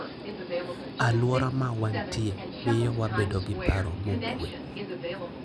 Alwora ma wantie miyo wabedo gi paro mokuwe.